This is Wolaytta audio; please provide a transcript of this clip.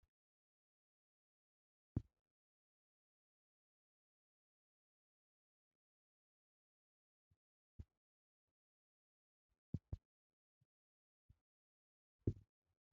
Xoossoo! laa hagee ayba ufayssii? Taani issi issi wode issi issi heeraa issi issi gaasuwan biyo wode aadhdhiya tukkeenne qumay maydda pee'a pee'a giissees.